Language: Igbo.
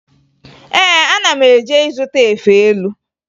Ee, ana m eje ịzụta efe elu